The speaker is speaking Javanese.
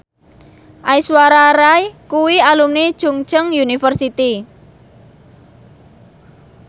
Aishwarya Rai kuwi alumni Chungceong University